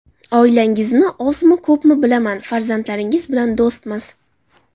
Oilangizni ozmi, ko‘pmi bilaman, farzandlaringiz bilan do‘stmiz.